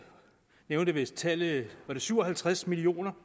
nævnte vist tallet syv og halvtreds millioner